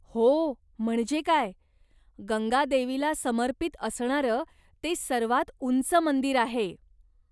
हो, म्हणजे काय. गंगा देवीला समर्पित असणारं ते सर्वात उंच मंदिर आहे.